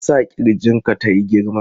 Me ya sa ƙirjin ka tayi girma?